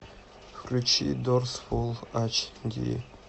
включи дорс фул ач ди